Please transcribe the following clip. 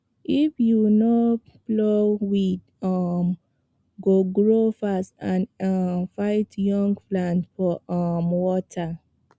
if you no plow weed um go grow fast and um fight young plant for um water